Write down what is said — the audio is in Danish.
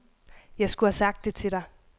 Jeg skulle have sagt det til dig.